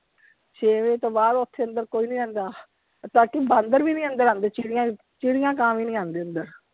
ਛੇ ਵਜੇ ਤੋਂ ਬਾਅਦ ਓਥੇ ਅੰਦਰ ਕੋਈ ਨਹੀਂ ਰਹਿੰਦਾ, ਤਾਕਿ ਬਾਂਦਰ ਵੀ ਨਹੀਂ ਅੰਦਰ ਆਉਂਦੇ, ਚਿੜੀਆਂ ਕਾਂ ਵੀ ਨਹੀਂ ਆਂਦੇ ਅੰਦਰ।